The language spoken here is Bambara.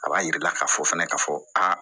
A b'a jira i la k'a fɔ fɛnɛ ka fɔ aa